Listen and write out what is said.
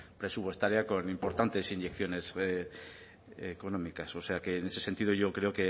presupuestaria importantes inyecciones económicas o sea que en ese sentido yo creo